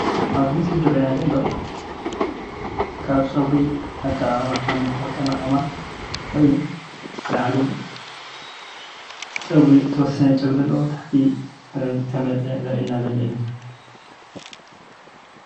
ኣብዚ ምስሊ ዝረአየና ዘሎ ካብ ጨጉሪ ኣቀማቅማ ኾይኑ ላዕሉ ጨጉሪ ዝተወሰነ ጨጉሪ ዘለዎ ብታሕቲ ዝተመለጠ ዘርእየና ዘሎ እዩ።